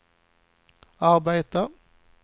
arbetat